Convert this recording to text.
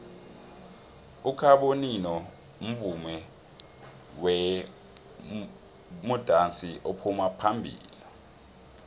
ukhabonino mvumi bemudansi ophuma phambilo